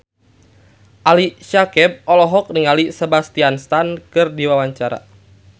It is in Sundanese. Ali Syakieb olohok ningali Sebastian Stan keur diwawancara